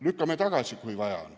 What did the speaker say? Lükkame tagasi, kui on vaja.